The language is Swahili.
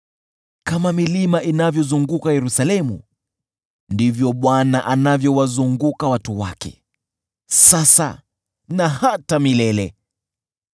Kama milima inavyozunguka Yerusalemu, ndivyo Bwana anavyowazunguka watu wake sasa na hata milele.